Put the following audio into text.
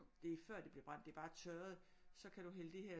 Det før det bliver brændt det bare tørret så kan du hælde det her